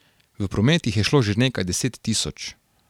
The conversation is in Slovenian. V promet jih je šlo že nekaj deset tisoč.